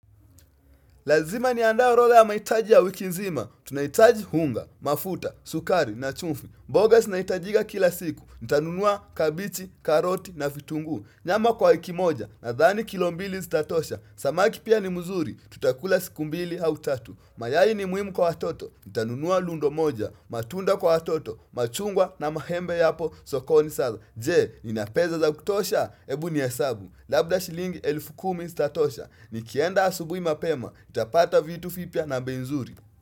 Lazima niandae orodha ya mahitaji ya wiki nzima. Tunahitaji hunga, mafuta, sukari na chumfi. Mboga zinahitajika kila siku. Nitanunua kabichi, karoti na vitunguu. Nyama kwa wiki moja nadhani kilo mbili zitatosha. Samaki pia ni mzuri. Tutakula siku mbili hau tatu. Mayai ni muhimu kwa watoto. Nitanunua lundo moja. Matunda kwa hatoto. Machungwa na mahembe yapo sokoni saza. Je, ninapesa za kutosha? Hebu nehesabu. Labda shilingi elfu kumi zitatosha Nikienda asubuhi mapema nitapata vitu vipya na bei nzuri.